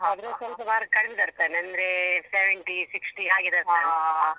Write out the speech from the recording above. ಅದ್ರಲ್ಲಿ ಸ್ವಲ್ಪ marks ಕಡಿಮೆ ಬರ್ತನೆ ಅಂದ್ರೆ seventy sixty ಹಾಗೆ ಬರ್ತಾನೆ.